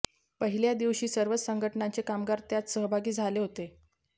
पहिल्या दिवशी सर्वच संघटनांचे कामगार त्यात सहभागी झाले होते